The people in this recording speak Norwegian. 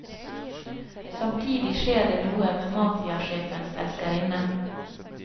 Samtidig skjer det noe med mafiasjefens elskerinne.